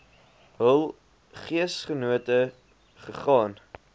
hul geesgenote gegaan